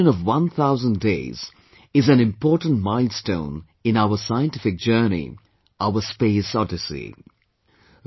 The completion of one thousand days, is an important milestone in our scientific journey, our space odyssey